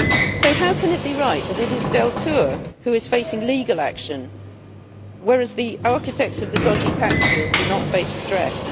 So how can it be right that it is Deltour who is facing legal action whereas the architects of the dodgy tax deals do not face redress?